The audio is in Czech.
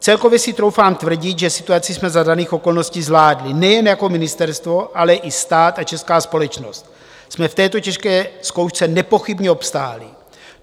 Celkově si troufám tvrdit, že situaci jsme za daných okolností zvládli nejen jako ministerstvo, ale i stát a česká společnost jsme v této těžké zkoušce nepochybně obstáli.